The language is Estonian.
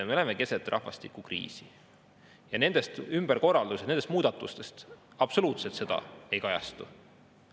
Me oleme keset rahvastikukriisi, aga nendes ümberkorraldustes ja nendes muudatustes see absoluutselt ei kajastu.